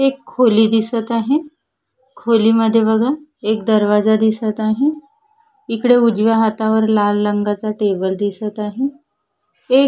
एक खोली दिसत आहे खोलीमध्ये बघा एक दरवाजा दिसत आहे इकडे उजव्या हातावर लाल रंगाचा टेबल दिसत आहे एक--